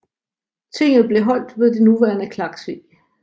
Tinget blev holdt ved det nuværende Klaksvík